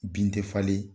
Bin tɛ falen